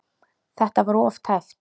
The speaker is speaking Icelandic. Þetta var of tæpt.